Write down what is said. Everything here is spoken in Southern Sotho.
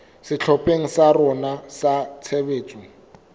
sehlopheng sa rona sa tshebetso